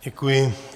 Děkuji.